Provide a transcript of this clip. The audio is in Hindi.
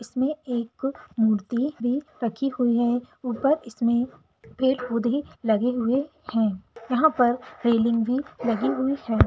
इसमें एक मूर्ति भी रखी हुई है ऊपर इसमें पेड़-पौधे लगे हुए है यहाँ पर रेलिंग भी लगी हुई है।